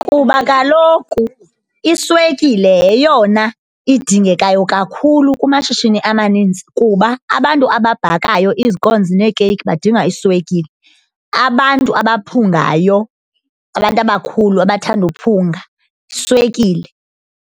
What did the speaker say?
Kuba kaloku iswekile yeyona idingekayo kakhulu kumashishini amaninzi kuba abantu ababhakayo izikonzi neekeyiki badinga iswekile, abantu abaphungayo abantu abakhulu abathanda uphunga, iswekile.